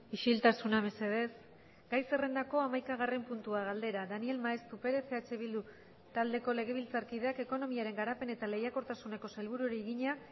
isiltasuna mesedez gai zerrendako hamaikagarren puntua galdera daniel maeztu perez eh bildu taldeko legebiltzarkideak ekonomiaren garapen eta lehiakortasuneko sailburuari egina